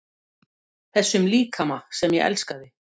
Þessum líkama sem ég elskaði.